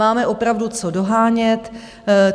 Máme opravdu co dohánět.